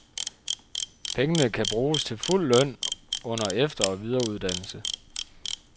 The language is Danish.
Pengene kan bruges til fuld løn under efter- og videreuddannelse.